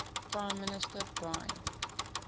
prime minister brian